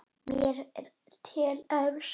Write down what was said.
Mér er til efs.